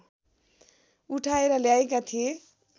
उठाएर ल्याएका थिए